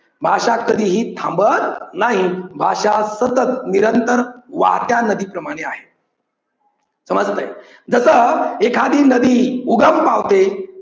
भाषा कधीही थांबत नाही. भाषा सतत निरंतर वाहत्या नदीप्रमाणे आहे समजलय. जसं एखादी नदी उगम पावते